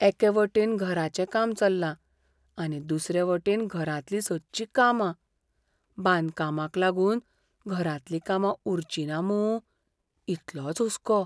एके वटेन घराचें काम चल्लां आनी दुसरे वटेन घरांतलीं सदचीं कामां. बांदकामाक लागून घरांतलीं कामां उरचिना मूं इतलोच हुस्को.